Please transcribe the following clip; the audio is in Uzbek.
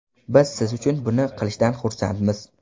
Biz siz uchun buni qilishdan xursandmiz.